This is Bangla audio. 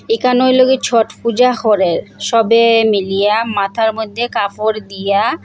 একানোর লগে ছট পূজা করে সবে মিলিয়া মাথার মধ্যে কাফর দিয়া--